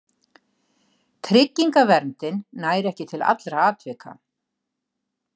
Tryggingaverndin nær ekki til allra atvika.